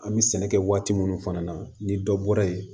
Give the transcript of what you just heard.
An bɛ sɛnɛ kɛ waati minnu fana na ni dɔ bɔra yen